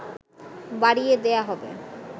বাড়িয়ে দেয়া হবে